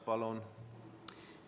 Palun!